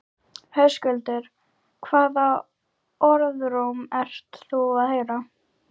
Höskuldur: Hvaða orðróm ert þú að heyra?